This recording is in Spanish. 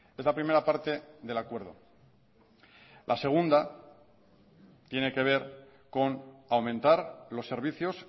es la primera parte del acuerdo la segunda tiene que ver con aumentar los servicios